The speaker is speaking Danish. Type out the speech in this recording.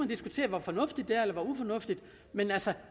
diskutere hvor fornuftigt det er eller hvor ufornuftigt men